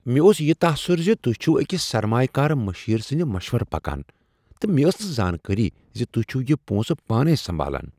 مےٚ اوس یہ تاثر ز تہۍ چھو أکس سرمایہ کار مشیر سٕندِ مشورٕ پکان تہٕ مےٚ ٲس نہٕ زانٛکٲری ز تہۍ چھو یِہ پونسہٕ پانے سنبالان ۔